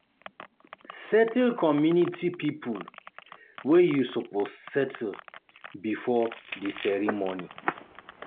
Settle community pipo wey you suppose settle before di ceremony